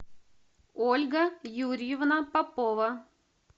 ольга юрьевна попова